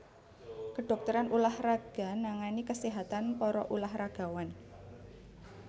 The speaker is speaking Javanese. Kedhokteran ulah raga nangani kaséhatan para ulah ragawan